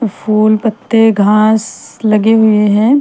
फूल पत्ते घास लगे हुए हैं ।